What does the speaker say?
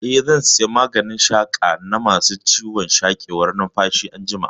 Eh, zan saya maganin shaƙa na ma su ciwon sarƙewar numfashi anjima